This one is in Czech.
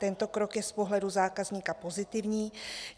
Tento krok je z pohledu zákazníka pozitivní.